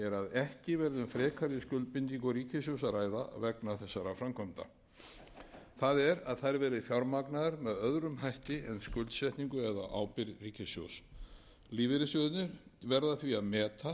ekki verði um frekari skuldbindingar ríkissjóðs að ræða vegna þessara framkvæmda það er að þær verði fjármagnaðar með öðrum hætti en skuldsetningu eða ábyrgð ríkissjóðs lífeyrissjóðirnir verða